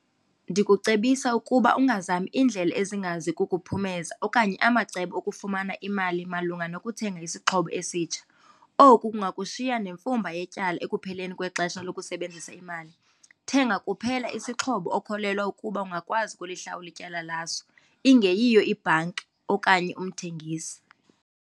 Ndikucebisa ukuba ungazami iindlela ezingazi kukuphumeza okanye amacebo okufumana imali malunga nokuthenga isixhobo esitsha. Oku kungakushiya nemfumba yetyala ekupheleni kwexesha lokusebenzisa imali. Thenga kuphela isixhobo okholelwa ukuba ungakwazi ukulihlawula ityala laso, ingeyiyo ibhanki okanye umthengisi.